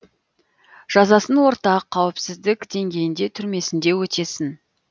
жазасын орта қауіпсіздік деңгейінде түрмесінде өтесін